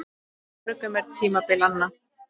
Hjá mörgum er tímabil anna.